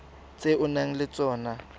tse o nang le tsona